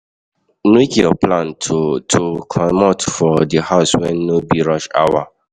Make your plan to to comot for di house when no be rush hour